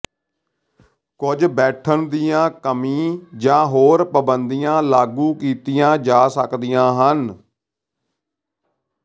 ਕੁਝ ਬੈਠਣ ਦੀਆਂ ਕਮੀ ਜਾਂ ਹੋਰ ਪਾਬੰਦੀਆਂ ਲਾਗੂ ਕੀਤੀਆਂ ਜਾ ਸਕਦੀਆਂ ਹਨ